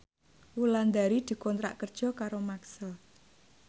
Wulandari dikontrak kerja karo Maxell